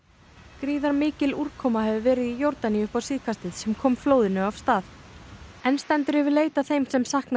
gríðarmikil úrkoma hefur verið í Jórdaníu upp á síðkastið sem kom flóðinu af stað enn stendur yfir leit að þeim sem saknað